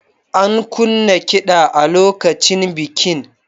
An kunna kiɗa a lokacin bikin.